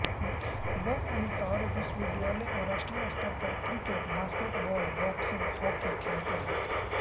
वह अन्तरविश्वविद्यालय और राष्ट्रीय स्तर पर क्रिकेट बास्केटबॉल बॉक्सिंग हॉकी खेले हैं